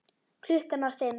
Klukkan var fimm.